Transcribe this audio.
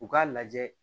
U k'a lajɛ